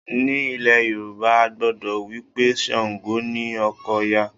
Ní ilẹ̀ Yorùbá, a gbàgbọ́ wí pé Ṣàǹgò ni ọkọ Òya